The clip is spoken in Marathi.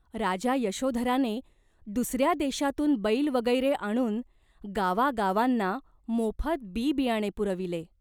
राजा यशोधराने दुसऱ्या देशांतून बैल वगैरे आणून गावागावांना मोफत बी बियाणे पुरविले.